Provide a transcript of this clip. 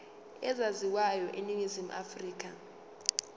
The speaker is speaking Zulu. ezaziwayo eningizimu afrika